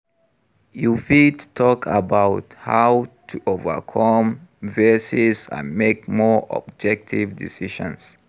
You fit talk about how to overcome biases and make more objective decisions.